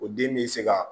O den bɛ se ka